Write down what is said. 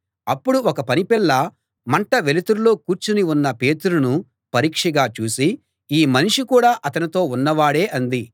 అప్పుడు ఒక పనిపిల్ల మంట వెలుతురులో కూర్చుని ఉన్న పేతురును పరీక్షగా చూసి ఈ మనిషి కూడా అతనితో ఉన్నవాడే అంది